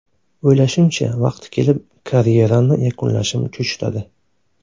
O‘ylashimcha, vaqti kelib karyeramni yakunlashim cho‘chitadi.